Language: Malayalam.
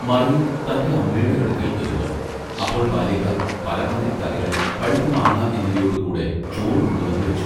മറിയം തന്റെ അമ്മയുടെ അടുക്കൽ ഇരുന്നു അപ്പോൾ ബാല്യക്കാർ പലമാതിരി കറികൾ പഴുത്ത മാങ്ങാ എന്നിവയോടു കൂടെ ചോറു കൊണ്ടുവന്നു വെച്ചു.